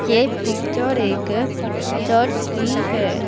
ये पिक्चर एक चर्च की है।